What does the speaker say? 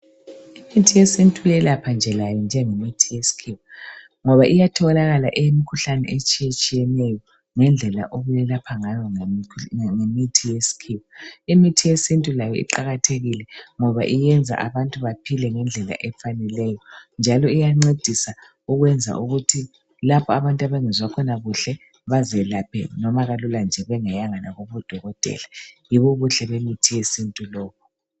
Imithi yesintu iyelapha nje layo njengemithi yesikhiwa, ngoba iyatholakala eyemikhuhlane etshiyatshiyeneyo. Ngendlela okwelapha ngayo ngemithi yesikhiwa. Imithi yesintu layo iqakathekile, ngoba iyenza abantu baphile ngendlela ecacileyo, njalo iyancedisa ukwenza ukuthi lapho abantu abangezwa khona kuhle, bazelaphe noma kalula nje bengayanga noma kudokotela. Yini ubuhle bemithi yesintu lobu.